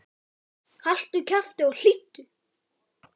Haltu kjafti og hlýddu!